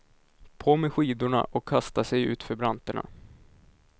På med skidorna och kasta sig ut för branterna.